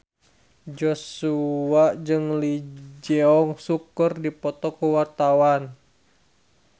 Joshua jeung Lee Jeong Suk keur dipoto ku wartawan